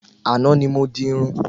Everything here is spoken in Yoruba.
Àná ni mo di Irun